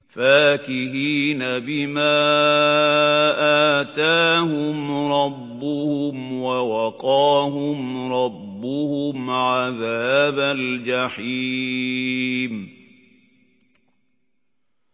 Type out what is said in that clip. فَاكِهِينَ بِمَا آتَاهُمْ رَبُّهُمْ وَوَقَاهُمْ رَبُّهُمْ عَذَابَ الْجَحِيمِ